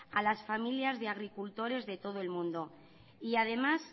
a las familias de agricultores de todo el mundo y además